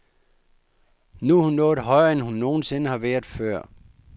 Nu er hun nået højere, end hun nogen sinde har været før.